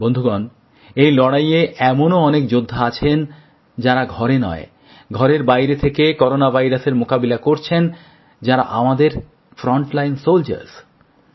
বন্ধুগণ এই লড়াইয়ে এমনও অনেক যোদ্ধা আছেন যাঁরা ঘরে নয় ঘরের বাইরে থেকে করোনা ভাইরাসের মোকাবিলা করছেন যাঁরা আমাদের ফ্রন্টলাইন সোলজার্সসামনের সারির যোদ্ধা